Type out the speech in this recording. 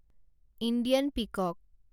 Indian পিকক